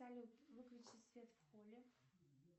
салют выключи свет в холле